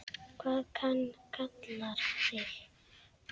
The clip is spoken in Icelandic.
Hvað hann kallar þig?